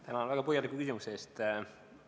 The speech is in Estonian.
Tänan väga põhjaliku küsimuse eest!